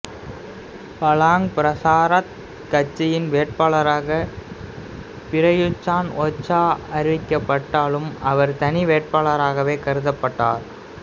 Palang Pracharath கட்சியின் வேட்பாளராக Prayut Chanocha அறிவிக்கப்பட்டாலும் அவர் தனி வேட்பாளராகவே கருதப்பட்டார்